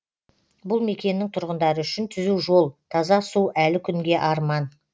бұл мекеннің тұрғындары үшін түзу жол таза су әлі күнге арман